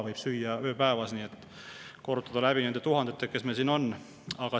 Nii et korrutame selle läbi nende tuhandetega, kes meil siin on.